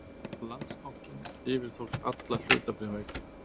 Landsbankinn yfirtók alla hlutabréfaeign